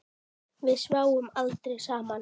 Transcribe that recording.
Brúnka tagli sveifla má.